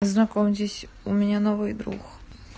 знакомьтесь у меня новый друг